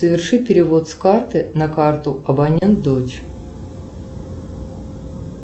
соверши перевод с карты на карту абонент дочь